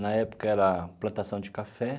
Na época era plantação de café.